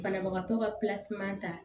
Banabagatɔ ka ta